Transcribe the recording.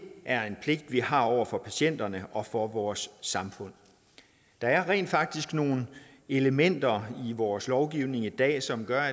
er en pligt vi har over for patienterne og over for vores samfund der er rent faktisk nogle elementer i vores lovgivning i dag som gør